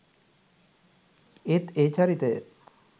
ඒත් ඒ චරිතය